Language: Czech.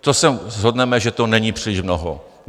To se shodneme, že to není příliš mnoho.